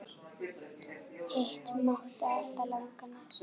Hitt mátti alltaf laga næst.